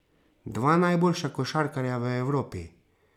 Dva najboljša košarkarja v Evropi.